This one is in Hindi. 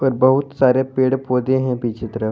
बहुत सारे पेड़ पौधे हैं पीछे तरफ।